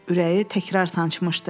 Ürəyi təkrar sancmışdı.